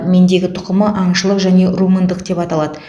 мендегі тұқымы аңшылық және румындық деп аталады